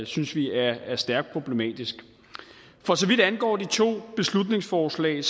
synes vi er er stærkt problematisk for så vidt angår de to beslutningsforslag